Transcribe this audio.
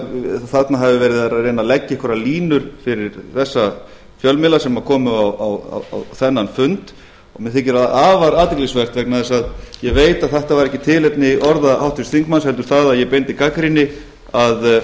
þarna hafi verið reynt að leggja einhverjar línur fyrir þessa fjölmiðla sem komu á þennan fund og mér þykir það afar athyglisvert vegna þess að ég veit að þetta var ekki tilefni orða háttvirts þingmanns heldur það að ég beindi gagnrýni að